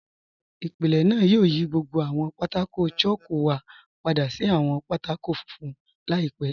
Ìpílẹ̀ náà yóò yí gbogbo àwọn pátákò̀ chalku wa padà sí àwọn pátákò̀ fúnfun laípẹ̀.